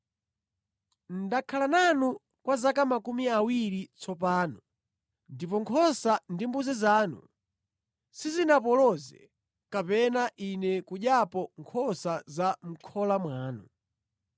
“Ndakhala nanu kwa zaka makumi awiri tsopano ndipo nkhosa ndi mbuzi zanu sizinapoloze, kapena ine kudyapo nkhosa za mʼkhola mwanu.